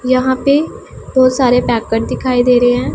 यहां पे बहुत सारे पैकट दिखाई दे रहे हैं।